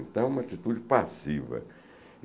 Então é uma atitude passiva.